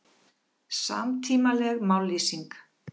Samtímaleg mállýsing